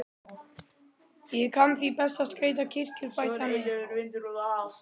Býð ég ekki öllum stelpum í bíó?